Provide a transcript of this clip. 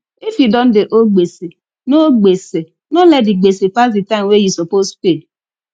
if you don dey owe gbese no gbese no let di gbese pass di time wey you suppose pay